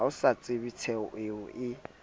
a sa tsebenthoeo a e